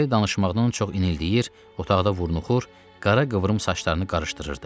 Lara danışmaqdan çox inildəyir, otaqda vurnuxur, qara qıvrım saçlarını qarışdırırdı.